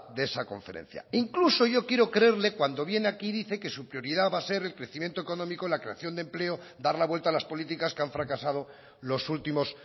de esa conferencia incluso yo quiero creerle cuando viene aquí dice que su prioridad va a ser el crecimiento económico la creación de empleo dar la vuelta a las políticas que han fracasado los últimos